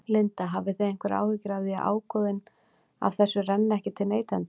Linda: Hafið þið einhverjar áhyggjur af því að ágóðinn af þessu renni ekki til neytenda?